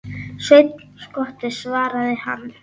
Sveinn skotti, svaraði hann.